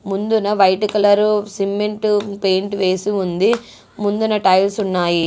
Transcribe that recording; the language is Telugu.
ముందున వైట్ కలరు సిమెంటు పెయింట్ వేసి ఉంది. ముందున టైల్స్ ఉన్నాయి.